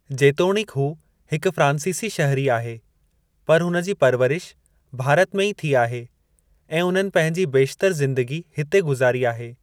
जेतोणीक हू हिकु फ्रांसीसी शहरी आहे, पर हुन जी परवरिश भारत में ई थी आहे ऐं उन्हनि पंहिंजी बेशतरि ज़िन्दगी हिते गुज़ारी आहे।